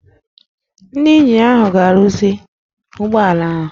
Ndị ịnjinịa ahụ ga-arụzi ụgbọ ala ahụ